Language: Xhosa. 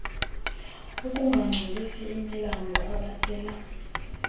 ukungangcolisi imilambo abasela